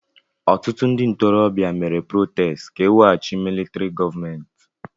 Ọtụtụ ndị ntorobịa mere protestị ka eweghachi militrị gọọmenti.